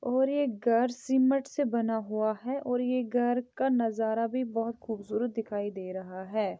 ओर ये घर सिंमट से बना हुआ है और ये घर का नजारा भी बहुत खूबसूरत दिखाई दे रहा है।